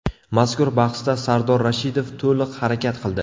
Mazkur bahsda Sardor Rashidov to‘liq harakat qildi.